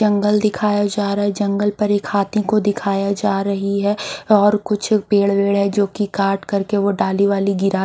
जंगल दिखाया जा रहा है जंगल पर एक हाथी को दिखाया जा रही है और कुछ पेड़ वेड है जो की काट करके वो डाली वाली गिरा--